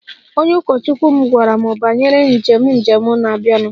Onye ụkọchukwu m gwara m banyere njem njem na-abịanụ